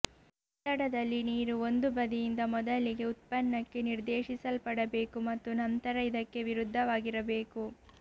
ಒತ್ತಡದಲ್ಲಿ ನೀರು ಒಂದು ಬದಿಯಿಂದ ಮೊದಲಿಗೆ ಉತ್ಪನ್ನಕ್ಕೆ ನಿರ್ದೇಶಿಸಲ್ಪಡಬೇಕು ಮತ್ತು ನಂತರ ಇದಕ್ಕೆ ವಿರುದ್ಧವಾಗಿರಬೇಕು